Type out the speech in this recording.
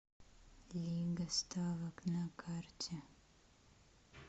лига ставок на карте